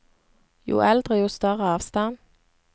Jo eldre, jo større avstand.